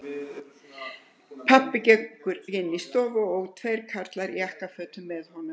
Pabbi gengur inn í stofuna og tveir karlar í jakkafötum með honum.